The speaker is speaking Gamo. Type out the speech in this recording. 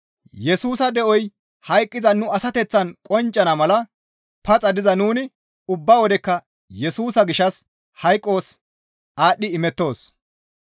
Yesusa de7oy hayqqiza nu asateththaan qonccana mala paxa diza nuni ubba wodekka Yesusa gishshas hayqos aadhdhi imettoos.